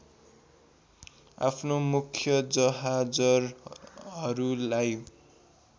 आफ्नो मुख्य जहाजहरूलाई